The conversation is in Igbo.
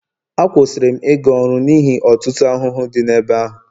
Akwụsịrị m ịga ọrụ n'ihi ọtụtụ ahụhụ dị n'ebe ahụ